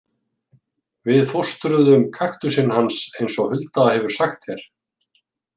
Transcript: Við fóstruðum kaktusinn hans eins og Hulda hefur sagt þér.